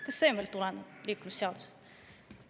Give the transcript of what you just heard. Ka see tuleneb meie liiklusseadusest.